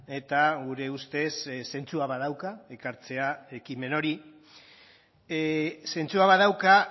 eta gure ustez zentzua badauka ekartzea ekimen hori zentzua badauka